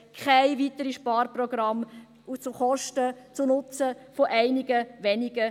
Keine weiteren Sparprogramme zum Nutzen von einigen wenigen.